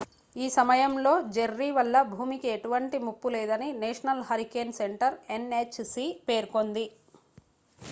ఈ సమయంలో జెర్రీ వల్ల భూమికి ఎటువంటి ముప్పు లేదని నేషనల్ హరికేన్ సెంటర్ ఎన్హెచ్సి పేర్కొంది